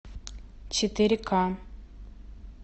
четыре ка